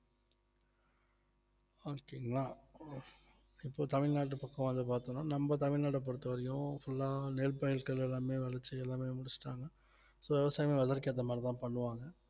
okay ங்களா இப்போ தமிழ்நாட்டு பக்கம் வந்து பார்த்தோம்ன்னா நம்ம தமிழ்நாட பொறுத்தவரைக்கும் full ஆ நெற் பயிறுகள் எல்லாமே விளச்சு எல்லாமே முடிச்சுட்டாங்க so விவசாயமே weather ஏத்த மாதிரிதான் பண்ணுவாங்க